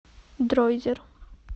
дройзер